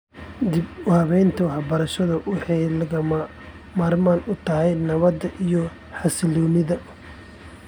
Dib-u-habaynta waxbarashadu waxay lagama maarmaan u tahay nabadda iyo xasilloonida .